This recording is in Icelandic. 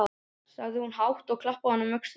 sagði hún hátt, og klappaði honum á öxlina.